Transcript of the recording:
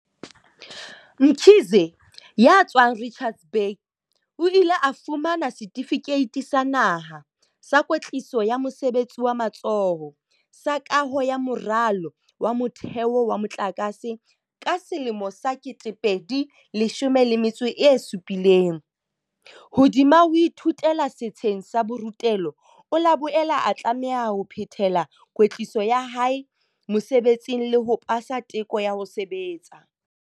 Mkhize, ya tswang Richards Bay, o ile a fumana setifikeiti sa naha sa kwetliso ya mosebetsi wa matsoho sa Kaho ya Moralo wa Motheo wa Motlakase ka 2017. Hodima ho ithutela setsheng sa borutelo, o la boela a tlameha ho phethela kwetliso ya hae mosebetsing le ho pasa teko ya ho sebetsa.